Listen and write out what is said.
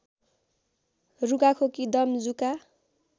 रुघाखोकी दम जुका